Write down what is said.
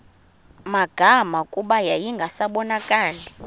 magama kuba yayingasabonakali